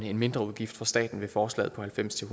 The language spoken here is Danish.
en mindre udgift for staten ved forslaget på halvfems til